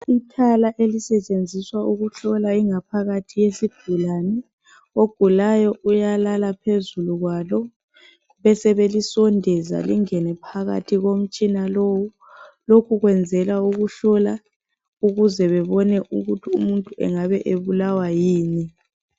IThala elisetshenziswa ukuhlola ingaphakathi yesigulani ogulayo uyalala phezulu kwalo besebelisondeza lingene phakathi komtshina lowu lokhu kwenzela ukuhlola ukuze bebone ukuthi umuntu engabe ebulawa yini